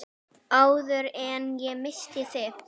Áður en ég missi þig.